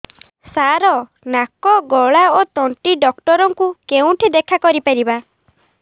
ସାର ନାକ ଗଳା ଓ ତଣ୍ଟି ଡକ୍ଟର ଙ୍କୁ କେଉଁଠି ଦେଖା କରିପାରିବା